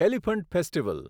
elephant festival